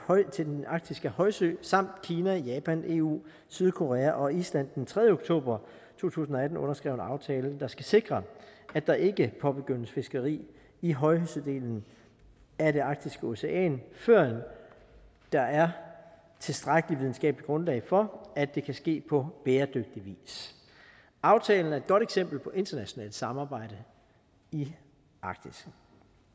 til den arktiske højsø samt kina japan eu sydkorea og island den tredje oktober to tusind og atten underskrev en aftale der skal sikre at der ikke påbegyndes fiskeri i højsødelen af det arktiske ocean førend der er tilstrækkelig videnskabeligt grundlag for at det kan ske på bæredygtig vis aftalen er et godt eksempel på internationalt samarbejde i arktis